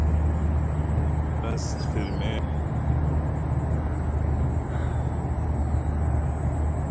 Hvernig er best fyrir mig að halda því markmiði að ætla að fara í ræktina?